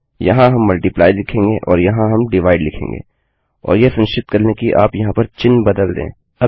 यहाँ हम multiplyमल्टप्लाइ लिखेंगे और यहाँ हम डिवाइड लिखेंगे और यह सुनिश्चित कर लें कि आप यहाँ पर चिह्न बदल दें